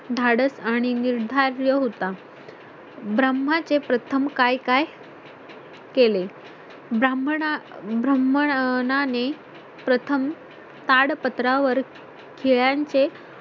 धाडस आणि निर्धारी होता ब्रम्हाचे प्रथम काय काय केले ब्राह्मणा ब्रह्मणा ने प्रथम ताडपत्रावर खिळ्यांचे